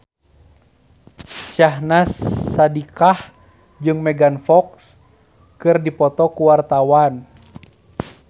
Syahnaz Sadiqah jeung Megan Fox keur dipoto ku wartawan